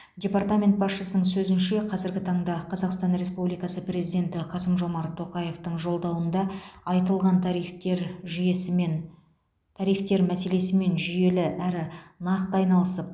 департамент басшысының сөзінше қазіргі таңда қазақстан республикасы президенті қасым жомарт тоқаевтың жолдауында айтылған тарифтер жүйесімен тарифтер мәселесімен жүйелі әрі нақты айналысып